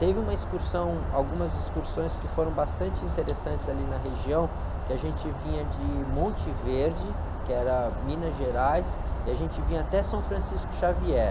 Teve uma excursão, algumas excursões que foram bastante interessantes ali na região, que a gente vinha de Monte Verde, que era Minas Gerais, e a gente vinha até São Francisco Xavier.